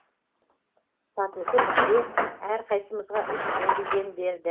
сатушы бізге әрқайсымызға үш рубльден берді